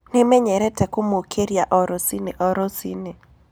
Nĩmenyerete kũmũkĩria rũcinĩ o rũcinĩ.